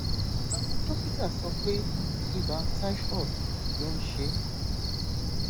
àwọn dókítà sọ pé ibà typhoid ló ń ṣe é